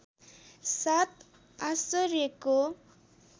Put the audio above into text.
सात आश्चर्यको